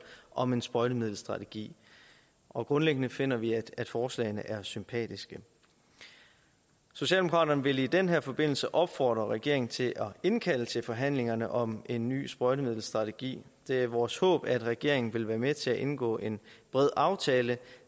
om en sprøjtemiddelstrategi og grundlæggende finder vi at forslagene er sympatiske socialdemokraterne vil i den her forbindelse opfordre regeringen til at indkalde til forhandlingerne om en ny sprøjtemiddelstrategi det er vores håb at regeringen vil være med til at indgå en bred aftale